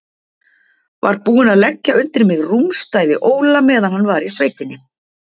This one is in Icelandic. Var búinn að leggja undir mig rúmstæði Óla meðan hann var í sveitinni.